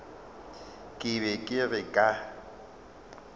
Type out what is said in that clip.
ke be ke re ka